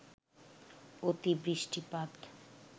অতি বৃষ্টিপাত